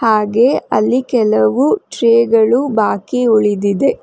ಹಾಗೆ ಅಲ್ಲಿ ಕೆಲವು ಟ್ರೇ ಗಳು ಬಾಕಿ ಉಳಿದಿದೆ.